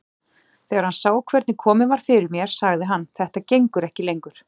Þegar hann sá hvernig komið var fyrir mér sagði hann: Þetta gengur ekki lengur.